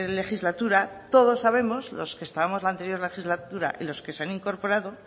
legislatura todos sabemos los que estábamos en la anterior legislatura y los que se han incorporado